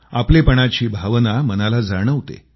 आपलेपणाची भावना मनाला जाणवते